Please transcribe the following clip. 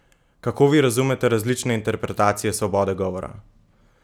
Kako vi razumete različne interpretacije svobode govora?